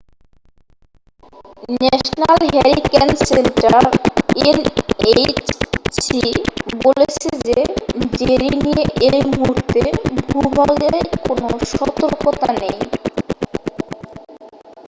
National hurricane centre nhc বলছে যে Jerry নিয়ে এই মুহূর্তে ভূভাগে কোন সতর্কতা নেই।